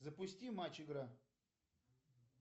запусти матч игра